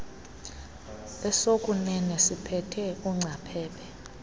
esokuunene siphethe ungcaphephe